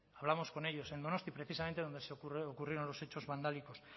hablamos con ellos en donostia precisamente donde ocurrieron los hechos vandálicos